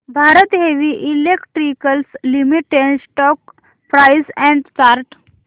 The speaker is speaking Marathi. Bharat heavy electricals limited stock price and chart